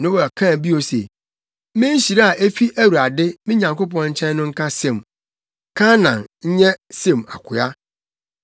Noa kaa bio se, “Me nhyira a efi Awurade, me Nyankopɔn, nkyɛn no nka Sem! Kanaan nyɛ Sem akoa.